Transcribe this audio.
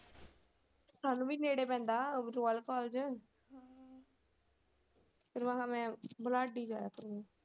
ਸਾਨੂੰ ਵੀ ਨੇੜੇ ਪੈਂਦਾ ਰਾਯਲ ਕਾਲਜ ਮੈਂ ਬਲਾਡ਼ੇ ਹੀ ਜਾਇਆ .